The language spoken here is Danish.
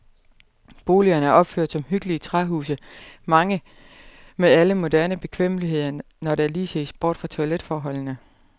Boligerne er opført som hyggelige træhuse, mange med alle moderne bekvemmeligheder, når der lige ses bort fra toiletforholdene.